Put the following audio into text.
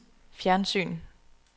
fjernsyn